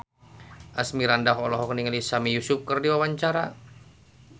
Asmirandah olohok ningali Sami Yusuf keur diwawancara